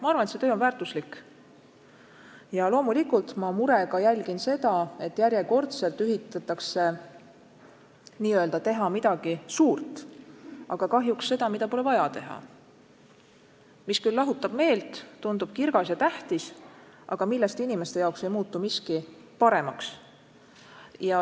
Ma arvan, et see töö on väärtuslik, ja loomulikult ma murega jälgin seda, et järjekordselt üritatakse nagu teha midagi suurt, aga kahjuks seda, mida pole vaja teha, mis küll lahutab meelt, tundub kirgas ja tähtis, aga millest inimeste jaoks ei muutu miski paremaks.